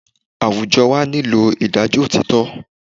Àwùjọ wa nílò ìdájọ́ òtítọ́